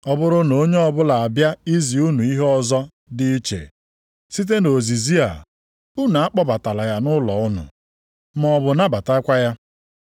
Ọ bụrụ na onye ọbụla abịa izi unu ihe ọzọ dị iche site nʼozizi a, unu akpọbatala ya nʼụlọ unu, maọbụ nabatakwa ya.